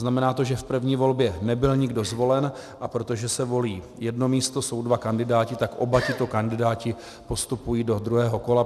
Znamená to, že v první volbě nebyl nikdo zvolen, a protože se volí jedno místo, jsou dva kandidáti, tak oba tito kandidáti postupují do druhého kola.